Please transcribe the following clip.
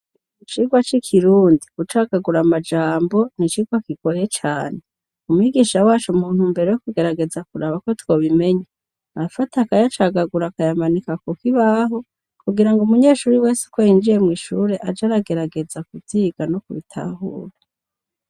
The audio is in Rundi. Icirwa cikirundi gucagagura amajambo nicirwa kigoye cane umwigisha waco muntumbero yuko tubimenya arafata akayacagagura akayamanika kukibaho kugirango umunyeshure wese uko yinjiye mwishure aze aragerageza kuvyiga no kubitahura